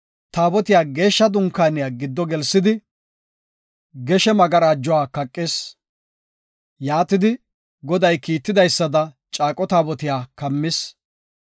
Taabotiya Geeshsha Dunkaaniya giddo gelsidi, geshe magarajuwa kaqis. Yaatidi, Goday kiitidaysada, Caaqo Taabotiya kammis.